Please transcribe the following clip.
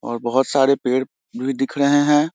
और बहुत सारे पेड़ भी दिख रहें हैं।